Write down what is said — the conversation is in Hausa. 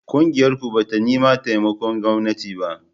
Ƙungiyarku ba ta neman taimakon gwamnati